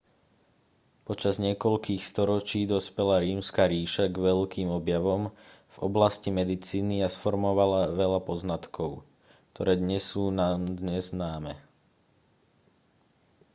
počas niekoľkých storočí dospela rímska ríša k veľkým objavom v oblasti medicíny a sformovala veľa poznatkov ktoré dnes sú nám dnes známe